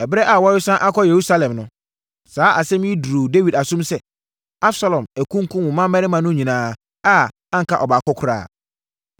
Ɛberɛ a wɔresane akɔ Yerusalem no, saa asɛm yi duruu Dawid asom sɛ, “Absalom akunkum wo mmammarima no nyinaa a anka ɔbaako koraa.”